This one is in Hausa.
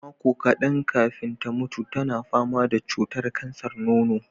Makon kaɗan kafin ta mutu, tana fama da cutar kansar nono.